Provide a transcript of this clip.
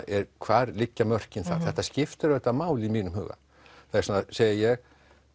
hvar liggja mörkin þar þetta skiptir auðvitað máli í mínum huga þess vegna segi ég